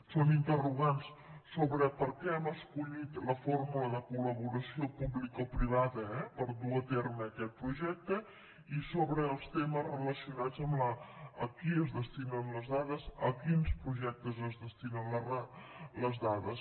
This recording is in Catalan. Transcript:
són interrogants sobre per què hem escollit la fórmula de col·laboració publicoprivada per dur a terme aquest projecte i sobre els temes relacionats amb a qui es destinen les dades a quins projectes es destinen les dades